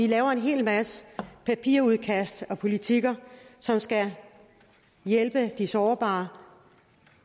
laver en hel masse papirudkast og politikker som skal hjælpe de sårbare